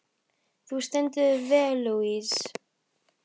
Þú stendur þig vel, Louise!